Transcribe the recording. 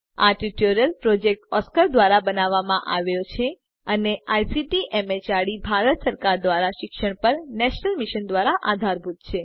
આ tutorial project Oscar ધ્વારા બનાવવામાં આવ્યો છે અને આઇસીટી એમએચઆરડી ભારત સરકાર દ્વારા શિક્ષણ પર નેશનલ મિશન દ્વારા આધારભૂત છે